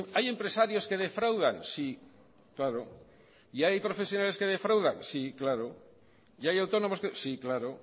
hay empresarios que defraudan sí claro y hay profesionales que defraudan sí claro y hay autónomos que sí claro